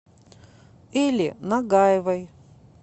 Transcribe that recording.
эле нагаевой